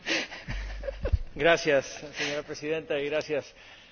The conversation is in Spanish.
Señora Presidenta, gracias a la Comisión, gracias, Comisaria.